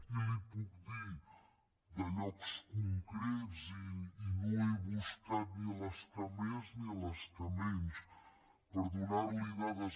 i li’n puc dir de llocs concrets i no he buscat ni les que més ni les que menys per donar li dades